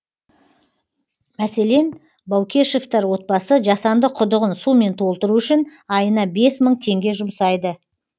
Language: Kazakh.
мәселен баукешевтар отбасы жасанды құдығын сумен толтыру үшін айына бес мың теңге жұмсайды